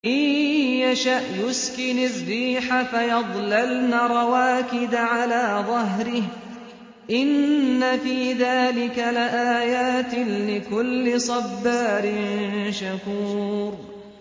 إِن يَشَأْ يُسْكِنِ الرِّيحَ فَيَظْلَلْنَ رَوَاكِدَ عَلَىٰ ظَهْرِهِ ۚ إِنَّ فِي ذَٰلِكَ لَآيَاتٍ لِّكُلِّ صَبَّارٍ شَكُورٍ